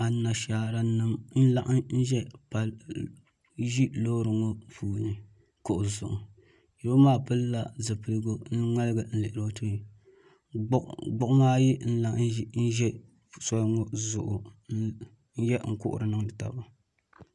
Anashaara nim n laɣim ʒi loori ŋo puuni kuɣu zuɣu yino maa pilila zipligu n ŋmaligi n lihiri o tooni gbuɣuma ayi n lahi ʒɛ soli ŋo zuɣu n kuhuri niŋdi taba